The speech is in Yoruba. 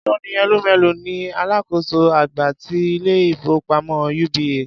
Tony Elumelu ni alákòóso àgbà ti ilé-ìfowópamọ́ UBA.